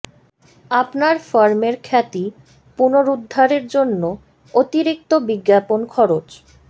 আপনার ফার্ম এর খ্যাতি পুনরুদ্ধারের জন্য অতিরিক্ত বিজ্ঞাপন খরচ